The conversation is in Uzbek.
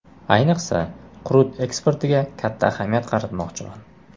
Ayniqsa, qurut eksportiga katta ahamiyat qaratmoqchiman.